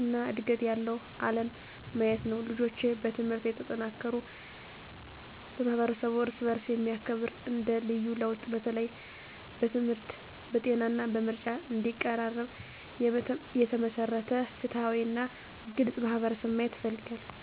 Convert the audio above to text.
እና ዕድገት ያለው ዓለም ማየት ነው። ልጆች በትምህርት የተጠናከሩ፣ ማህበረሰቡ እርስ በእርስ የሚያከብር እንደ ልዩ ለውጥ፣ በተለይም በትምህርት፣ በጤና እና በምርጫ እንዲቀራረብ የተመሰረተ ፍትሃዊ እና ግልጽ ማህበረሰብ ማየት እፈልጋለሁ።